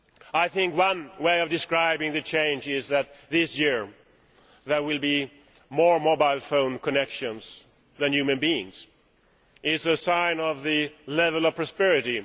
I think one way of describing the change is that this year there will be more mobile phone connections than human beings, which is a sign of the level of prosperity.